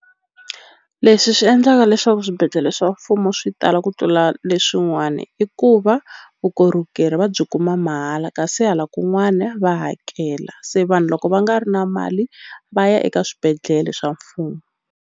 Leswi swi endlaka leswaku swibedhlele swa mfumo swi tala ku tlula leswin'wani i ku va vukorhokeri va byi kuma mahala kasi hala kun'wana va hakela se vanhu loko va nga ri na mali va ya eka swibedhlele swa mfumo.